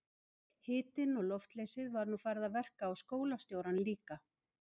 Hitinn og loftleysið var nú farið að verka á skólastjórann líka.